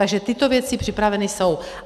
Takže tyto věci připraveny jsou.